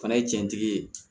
Fana ye jɛntigi ye